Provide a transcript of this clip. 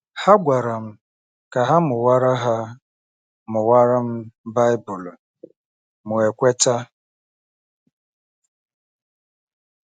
Ha gwara m ka ha mụwara ha mụwara m Baịbụl, mụ ekweta.